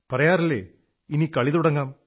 പറയാറില്ലേ ഇനി കളി തുടങ്ങാം